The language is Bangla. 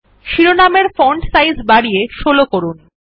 শিরোনাম এর ফন্ট সাইজ বাড়িয়ে ১৬ করুন